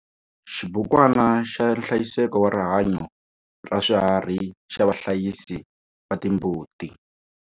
Xibukwana xa nhlayiseko wa rihanyo ra swiharhi xa vahlayisi va timbuti.